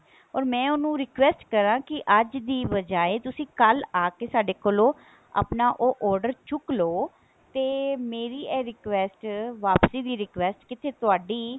or ਮੈਂ ਉਹਨੂੰ request ਕਰਾਂ ਕੀ ਅੱਜ ਦੀ ਬਜਾਏ ਤੁਸੀਂ ਕੱਲ ਆਕੇ ਸਾਡੇ ਕੋਲੋਂ ਆਪਣਾ ਉਹ order ਉਹ ਚੁੱਕਲੋ ਤੇ ਮੇਰੀ ਇਹ request ਵਾਪਸੀ ਦੀ request ਕਿਤੇ ਤੁਹਾਡੀ